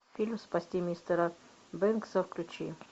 фильм спасти мистера бэнкса включи